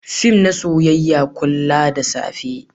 fim na soyayya muka kulla da safe